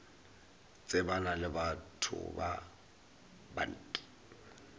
tsebana le batho ba bant